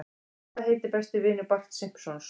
Hvað heitir besti vinur Barts Simpsons?